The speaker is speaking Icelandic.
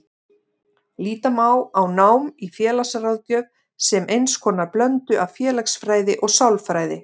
Líta má á nám í félagsráðgjöf sem eins konar blöndu af félagsfræði og sálfræði.